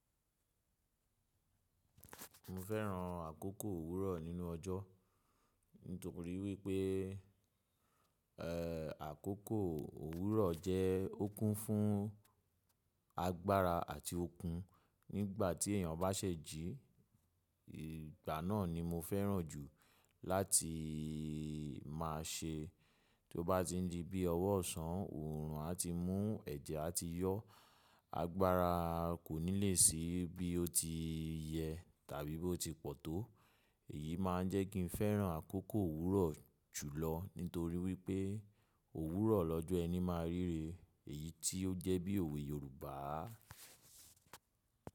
Mo fẹ́ran àkókò òwúrọ̀ nínú ọjọ́ nítorí wípé, ẹ́ẹ̀, àkókò òwúrọ̀ jẹ́ okun fún agbára àti okun. Nígbà tí èeyàn bá ṣèjí, ìgbà náà ni mo fẹ́ran jù láti má a ṣe. Tó bá ti n di bí ọwọ́ ọ̀sán, oòrùn á ti mú ẹ̀jẹ̀ á ti yọ. Agbára kò ní le sí bí ó ti yẹ tàbí bí ó ti pọ̀ tó. Èyí máa ń jẹ́ kí n fẹ́ran àkókò òwúrọ̀ jùlọ nítorí wípé òwúrọ̀ lọ́jọ́ ẹni máa ríre. Èyí tí ó jẹ́ bí òwe Yorùbá.